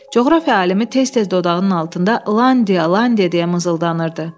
Coğrafiya alimi tez-tez dodağının altında Landia, Landia deyə mızıldanırdı.